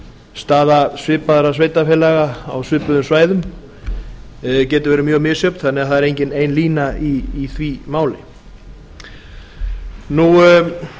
staða svipaðra sveitarfélaga á svipuðum svæðum getur verið mjög misjöfn þannig að það er engin ein lína í því máli